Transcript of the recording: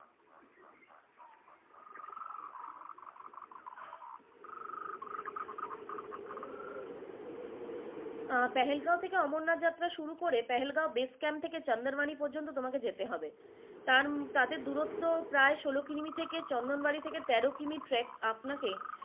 আহ পেহেলগাঁও থাকে অমরনাথ যাত্ৰা শুরু করে পেহেলগাঁও base camp থাকে চন্দ্রবানী পর্যন্ত তোমাকে যেতে হবে তান তাতে দূরত্ব প্রায় ষোল কিলিমি থেকে চন্দ্রবানী থেকে তেরো কিমি trek আপনাকে।